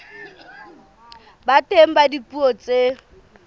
ba teng ka dipuo tse